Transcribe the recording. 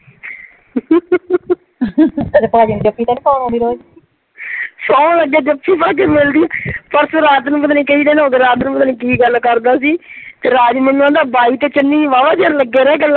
ਤੇ ਭਾਜੀ ਨੂੰ ਜੱਫੀ ਤਾਂ ਨਹੀ ਪਾਉਣ ਆਉਂਦੀ ਰੋਜ਼ ਸੁਹੰ ਲੱਗੇ ਜੱਫੀ ਪਾ ਕੀ ਮਿਲਦੀ ਆ ਪਰਸੋ ਰਾਤ ਨੂੰ ਪਤਾ ਨਹੀ ਕਈ ਦਿਨ ਹੋ ਗਏ ਰਾਤ ਨੂੰ ਪਤਾ ਨਹੀ ਕੀ ਗੱਲ ਕਰਦਾ ਸੀ ਤੇ ਰਾਜ ਮੈਨੂੰ ਆਂਹਦਾ ਬਾਈ ਤੇ ਚੰਨੀ ਵਾਹਵਾ ਚਿਰ ਲੱਗੇ ਰਹੇ ਗੱਲਾਂ ਕਰਨ।